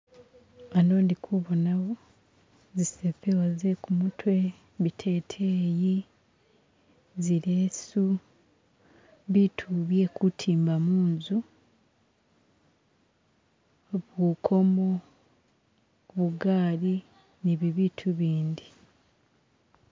Ano ndi kubonawo zisepewo ze'kumutwe , biteteyi , zilesu , biitu byekutimba munzu, ubukomo , bigaali ni bibitu ibindi.